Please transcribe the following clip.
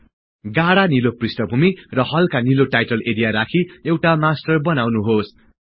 गाढा निलो पृष्ठभुमि र हल्का निलो टाईटल एरिया राखि एउटा मास्टर बनाउनुहोस्